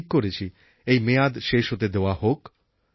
আমি ঠিক করেছি এই মেয়াদ শেষ হতে দেওয়া হোক